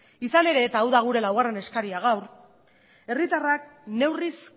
izan ere eta hau da gure laugarren eskaria gaur herritarrak neurriz